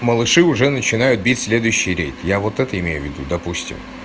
малыши уже начинают бить следующий рейд я вот это имею в виду допустим